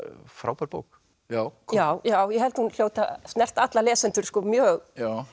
frábær bók já já já ég held að hún hljóti að snerta alla lesendur mjög